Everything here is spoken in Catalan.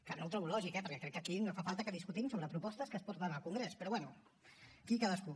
que no ho trobo lògic eh perquè crec que aquí no fa falta que discutim sobre propostes que es porten al congrés però bé aquí cadascú